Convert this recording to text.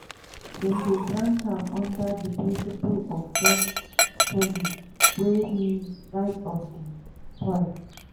dem dey grant am under di principle of jus soli wey mean right of di soil.